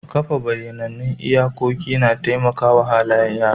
Kafa bayyanannun iyakoki na taimaka wa halayen yara.